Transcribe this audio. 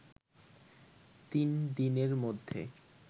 তিন দিনের মধ্যে